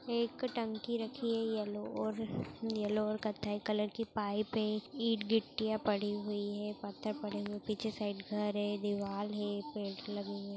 एक टंकी रखी है येलो येलो और कत्थई कलर की पाइप है ईंट गिट्टियाँ पड़ी हुई है पत्थर पड़े हुए हैं पीछे साइड घर है दीवार है पेड़ लगे हुए है।